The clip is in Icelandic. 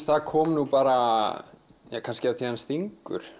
það kom nú bara jah kannski af því að hann stingur